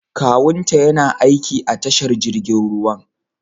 Kawunta yana aiki a tashar jirgin ruwan.